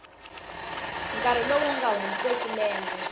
nkarhi lowu nga hundzeki lembe